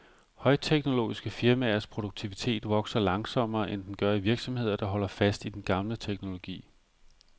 Højteknologiske firmaers produktivitet vokser langsommere, end den gør i virksomheder, der holder fast i den gamle teknologi.